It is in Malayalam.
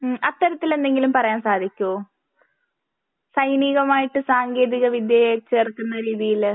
ഹ്മ് അത്തരത്തിലെന്തെങ്കിലും പറയാൻ സാധിക്കോ? സൈനികവുമായിട്ട് സാങ്കേന്തിക വിദ്യയുമായി ചേർക്കുന്ന രീതിയില്